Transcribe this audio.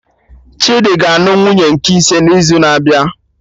Chidi ga anụ nwunye nke ise n'izu na-abịa